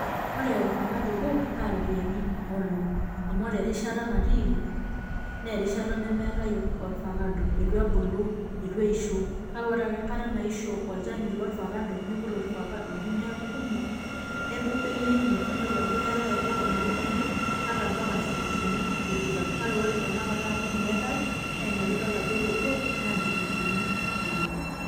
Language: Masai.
Ore ofakado obo, na ropiyaiani onom. Amu ore erishata natiiki, nerishata nemeetae ofakado. Eitu ebulu, eitu eisho. Kake ore ake enkata naisho olchani lofakado, niput ifakadoni neeku kumok, nedou bei enye. Ninepu ajo keetae obo omiri kumi, mpaka nchilinkini tikitam. Kake ore tanakata amu meetae, naina pidol ajo ore obo, na inchilinkini onom.